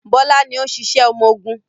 Bọ́lá ni ó ń ṣiṣẹ́ ọmọgun.